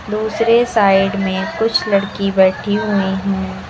दूसरी साइड में कुछ लड़की बैठी हुई हैं।